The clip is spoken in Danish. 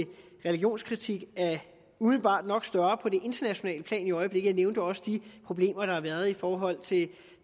religionskritik umiddelbart nok er større på det internationale plan i øjeblikket jeg nævnte også de problemer der har været i forhold